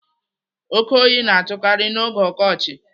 Oke oyi na-atụkarị n'oge ọkọchị.